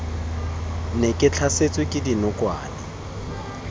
ne ke tlhasetswe ke dinokwane